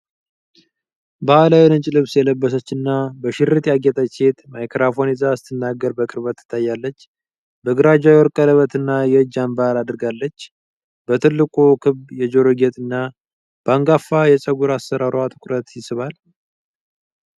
ባሕላዊ ነጭ ልብስ የለበሰችና በሽርጥ ያጌጠች ሴት ማይክሮፎን ይዛ ስትናገር በቅርበት ትታያለች። በግራ እጇ የወርቅ ቀለበትና የእጅ አንባር አድርጋለች፤ በትልቁ ክብ የጆሮ ጌጥና በአንጋፋ የፀጉር አሠራሯ ትኩረት ይስባል።